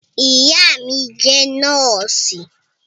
Ìyá mí jẹ nọ́ọ̀sì